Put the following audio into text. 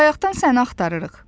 Bayaqdan səni axtarırıq.